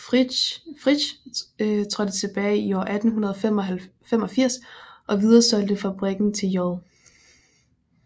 Frich trådte tilbage i år 1885 og videresolgte fabrikken til J